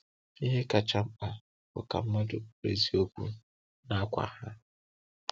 Ihe kacha mkpa bụ ka mmadụ bụrụ eziokwu n’akwá ha.